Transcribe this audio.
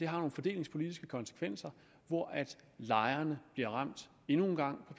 har nogle fordelingspolitiske konsekvenser hvor lejerne endnu en gang